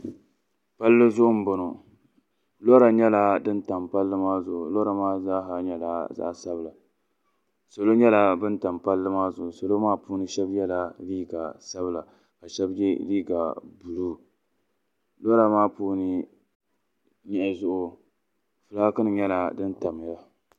palli zuɣu m-bɔŋɔ lɔra nyɛla din tam palli maa zuɣu lɔra maa zaa ha nyɛla zaɣ' sabila salo nyɛla ban tam palli maa zuɣu salo maa puuni shɛba yela liiga sabila ka shɛba ye liiga buluu lɔra maa puuni nyehi zuɣu fulaaki nima nyɛla din tam ya.